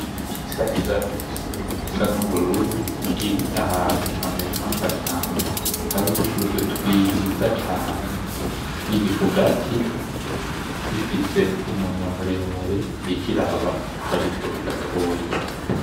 Inyoni isa neza gose, isa n'ubururu iri ahantu hameze nka gashamba, hari udushugwe twiza cane. Iri ku gati ifise umunwa muremure, iriko iraba haruguru gatoya.